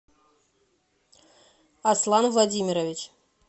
аслан владимирович